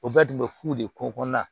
O bɛɛ tun bɛ fu de ko kɔnɔna na